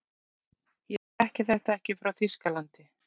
ég þekki þetta ekki frá þýskalandi